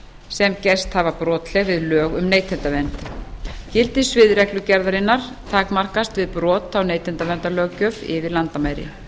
sem gerst hafa brotleg við lög um neytendavernd gildissvið reglugerðarinnar takmarkast við brot á neytendaverndarlöggjöf yfir landamæri